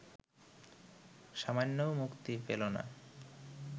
সামান্যও মুক্তি পেল না